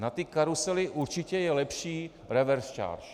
Na ty karusely určitě je lepší revers charge.